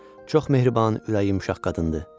Çox mehriban, ürəyi yumşaq qadındır.